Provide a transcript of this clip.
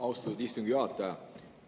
Austatud istungi juhataja!